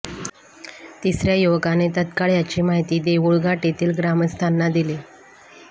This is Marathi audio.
तिसऱ्या युवकाने तत्काळ याची माहिती देऊळघाट येथील ग्रामस्थांना दिली